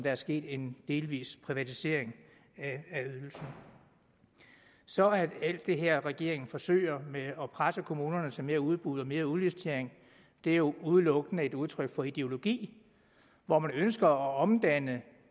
er sket en delvis privatisering af ydelsen så alt det her som regeringen forsøger med at presse kommunerne til mere udbud og mere udlicitering er jo udelukkende et udtryk for en ideologi hvor man ønsker at omdanne